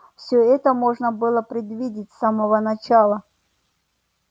всё это можно было предвидеть с самого начала